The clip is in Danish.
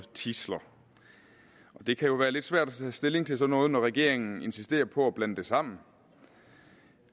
og tidsler det kan jo være lidt svært at tage stilling til sådan noget når regeringen insisterer på at blande det sammen